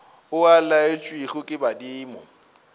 o a laetšwego ke badimo